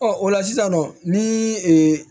Ɔ o la sisan nɔ ni ee